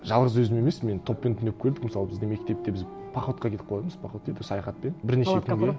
жалғыз өзім емес мен топпен түнеп көрдік мысалы біздің мектепте біз походқа кетіп қалатынбыз поход дейді ғой саяхатпен бірнеше күнге